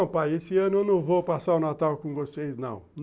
Não, pai, esse ano eu não vou passar o Natal com vocês, não.